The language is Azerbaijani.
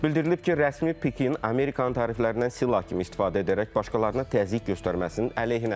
Bildirilib ki, rəsmi Pekin Amerikanın təriflərindən silah kimi istifadə edərək başqalarına təzyiq göstərməsinin əleyhinədir.